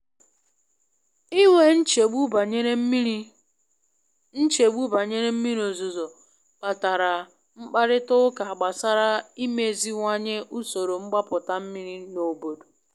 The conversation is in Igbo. I nwe nchegbu banyere mmiri nchegbu banyere mmiri ozuzo kpatara mkparịta ụka gbasara imeziwanye usoro mgbapụta mmiri n’obodo.